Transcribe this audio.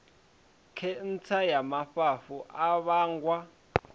khentsa ya mafhafhu a vhangwa